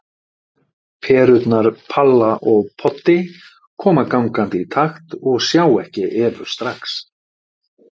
Perurnar Palla og Poddi koma gangandi í takt og sjá ekki Evu strax.